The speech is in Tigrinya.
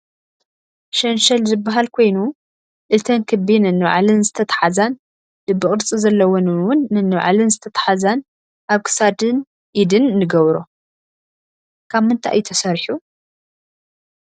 ሸንሸል ዝብሃል ኮይኑ አተን ክቢ ነንባዕለን ዝተታሓዘን ልቢ ቅርፂ ዘለወን እውን ነንባዕለን ዝተታሓዘን ኣብ ክሳድን ኢድን ንገብሮ። ካብ ምንታይ እዩ ተሰሪሑ?